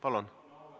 Palun!